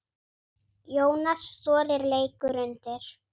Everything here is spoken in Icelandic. Jónas Þórir leikur undir.